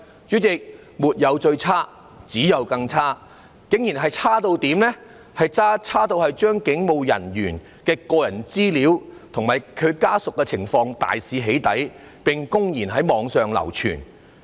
主席，沒有最差，只有更差，有人竟然可以差到對警務人員的個人資料及家屬情況大肆"起底"，並公然在網上流傳。